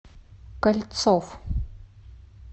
кольцов